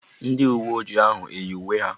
Ndị uwe ojii ahụ eyi uwe ha?